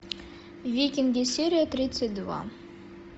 викинги серия тридцать два